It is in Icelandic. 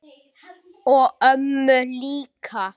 Og mömmu líka.